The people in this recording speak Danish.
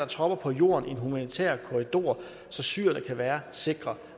tropper på jorden i en humanitær korridor så syrerne kan være sikre